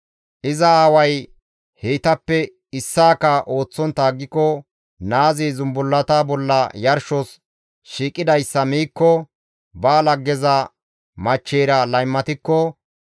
iza aaway heytappe issaaka ooththontta aggiko, naazi zumbullata bolla yarshos shiiqidayssa miikko, ba laggeza machcheyra laymatikko,